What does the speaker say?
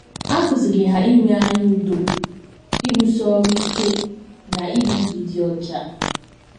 A kụziiri ha inwe anya udo, ịrụsi ọrụ ike, na ibi ndụ dị ọcha.